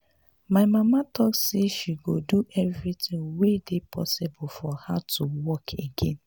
my mama talk say she go do everything wey dey possible for her to walk again